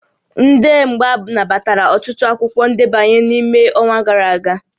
Ndị mgba nabatara ọtụtụ akwụkwọ ndebanye n'ime ọnwa gara aga